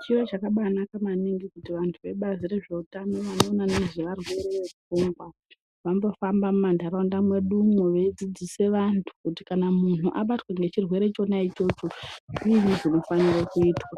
Chiro chakabaanaka maningi kuti vantu vebazi rezveutano nevanoona nezvevarwere vepfungwa vambofamba mumanharaunda mwedu umwo veidzidzisa vantu. Kuti kana muntu abatwa nechirwere chona ichocho zviinyi zvinofanira kuitwa.